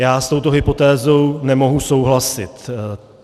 Já s touto hypotézou nemohu souhlasit.